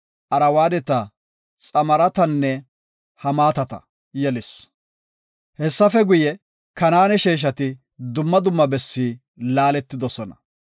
Arwaadeta, Xamaaratanne Hamaatata yelis. Hessafe guye, Kanaane sheeshati dumma dumma bessi laaletidosona.